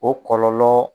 O kɔlɔlɔ